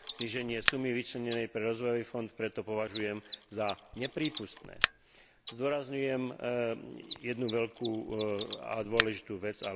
Zníženie sumy vyčlenenej pre rozvojový fond preto považujem za neprípustné. Zdôrazňujem však jednu veľkú a dôležitú vec.